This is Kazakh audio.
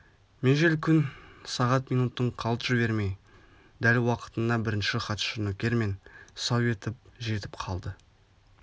межел күн сағат минутын қалт жібермей дәл уақытында бірінші хатшы нөкермен сау етіп жетіп келді